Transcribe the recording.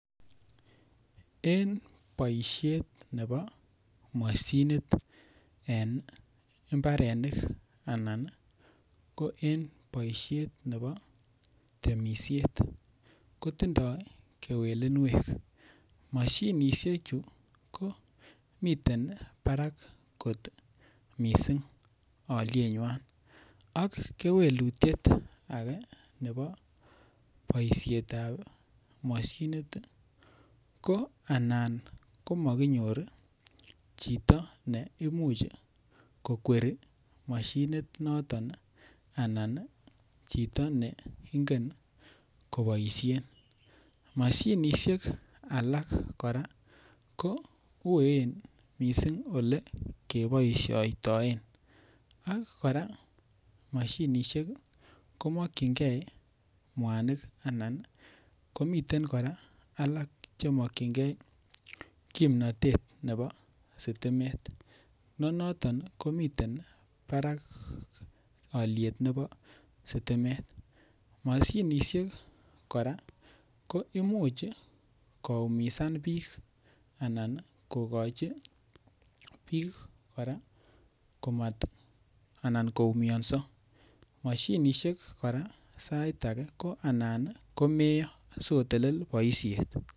En boishet nebo mashinit en mbarenik anan ko en boishet nebo temishet kotindoi kewelinwek mashinishechu ko miten barak kot mising' olienywai ak kewelutchet age nebo boishetab mashinit ko an komakinyor chito neimuch kokweri mashinit noton anan chito ne ingen koboishen mashinishek alak kora ko uen mising' ole keboishoitoen ak kora mashinishek komakchingei mwanik anan komiten alak chemokchingei kimnatet nebo sitimet ne noton kometen barak oliet nebo sitimet mashinishek kora ko imuch koumisan biik anan kokochin biik kora koumionso mashinishek kora sait age ko anan komeiyo sikotelel boishet